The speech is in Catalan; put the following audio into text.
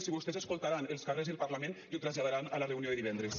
si vostès escoltaran els carrers i el parlament i ho traslladaran a la reunió de divendres